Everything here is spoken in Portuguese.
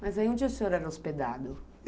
Mas onde o senhor era hospedado?